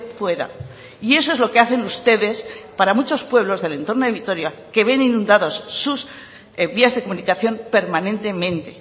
fuera y eso es lo que hacen ustedes para muchos pueblos del entorno de vitoria que ven inundados sus vías de comunicación permanentemente